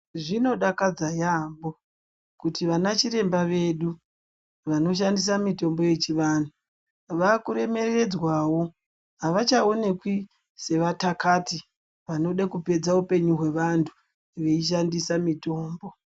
Zvinodakadza yaampo kuti ana chirwmba vedu vanoshandisa mutombo yechivanhu vakuremeredzwawo avachaonekwi sevatakati vanode kuoedza upenyu hwevantu veishandisa mitombo.